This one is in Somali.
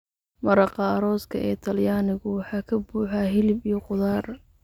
Maraqa arooska ee Talyaanigu waxa ka buuxa hilib iyo khudaar.